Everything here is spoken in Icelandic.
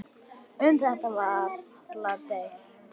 Um þetta er varla deilt.